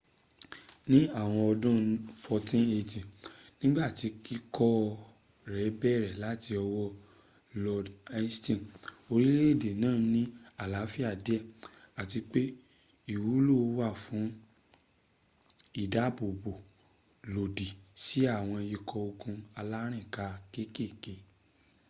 ní àwọn ọdún 1480 nígbàtí kíkọ́ rẹ bẹ̀rẹ̀ láti ọwọ́ lord hastings orílè-èdè náà ní àlàáfíà díè àti pe ìwúlò wà fún ìdábòbò lòdì sí àwọn ikọ́ ogun alárìnká kékèké